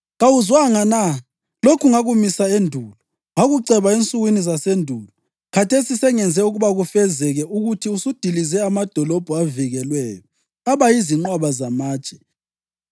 “ ‘Kawuzwanga na? Lokhu ngakumisa endulo. Ngakuceba ensukwini zasendulo; khathesi sengenze ukuba kufezeke, ukuthi usudilize amadolobho avikelweyo aba yizinqwaba zamatshe.